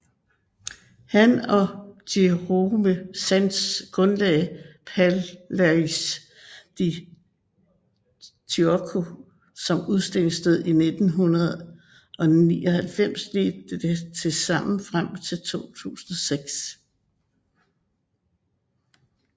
Han og Jérôme Sans grundlagde Palais de Tokyo som udstillingssted i 1999 og ledte det sammen frem til 2006